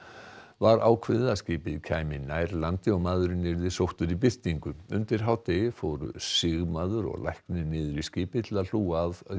var ákveðið að skipið kæmi nær landi og maðurinn yrði sóttur í birtingu undir hádegi fóru sigmaður og læknir niður í skipið til að hlúa að